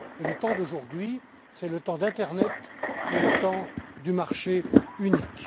Or, le temps aujourd'hui c'est le temps d'internet et le temps du marché unique.